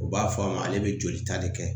U b'a fɔ a ma ale bɛ jolita de kɛ